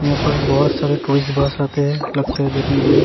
यहां पर बहौत सारा टूरिस्ट बस आते हैं लगता है देखने के लिए।